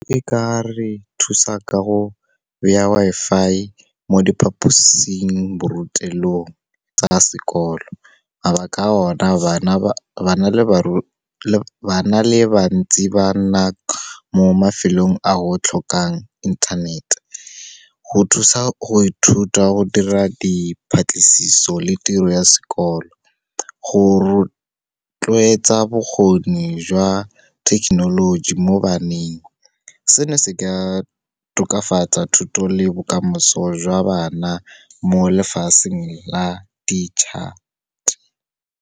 E ka re thusa ka go beya Wi-Fi mo diphaposingborutelong tsa sekolo. Mabaka a ona bana ba le bantsi ba nna mo mafelong a go tlhokang inthanete. Go thusa go ithuta, go dira le tiro ya sekolo, go rotloetsa bokgoni jwa thekenoloji mo baneng. Seno se ka tokafatsa thuto le bokamoso jwa bana mo lefatsheng la di-chart.